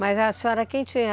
Mas a senhora quem tinha?